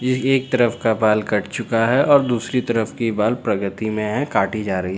ये एक तरफ का बाल कट चुका हैं और दूसरी तरफ की बाल प्रगति में हैं काटी जा री--